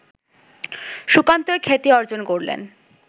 সুকান্ত এত খ্যাতি অর্জন করলেন